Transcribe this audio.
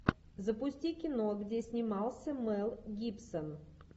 запусти кино где снимался мэл гибсон